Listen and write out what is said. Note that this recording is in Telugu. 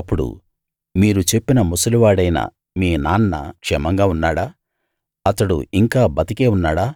అప్పుడు మీరు చెప్పిన ముసలివాడైన మీ నాన్న క్షేమంగా ఉన్నాడా అతడు ఇంకా బతికే ఉన్నాడా